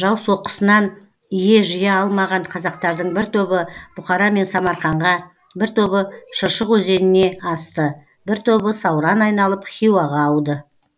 жау соққысынан ие жия алмаған қазақтардың бір тобы бұқара мен самарқанға бір тобы шыршық өзеніне асты бір тобы сауран айналып хиуаға ауды